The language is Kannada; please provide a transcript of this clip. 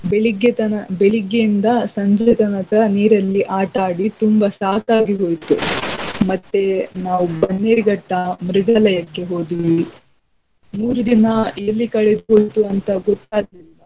ಬೆಳಿಗ್ಗೆ ತನ~ ಬೆಳಿಗ್ಗೆಯಿಂದ ಸಂಜೆ ತನಕ ನೀರಲ್ಲಿ ಆಟ ಆಡಿ ತುಂಬ ಸಾಕಾಗಿ ಹೋಯ್ತು ಮತ್ತೆ ನಾವ್ ಬನ್ನೇರಘಟ್ಟ ಮೃಗಾಲಯಕ್ಕೆ ಹೋದ್ವಿ. ಮೂರು ದಿನ ಎಲ್ಲಿ ಕಳೆದ್ ಹೋಯ್ತು ಅಂತಾ ಗೊತ್ತಾಗ್ಲಿಲ್ಲಾ.